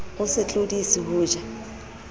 o se tlodise ho ja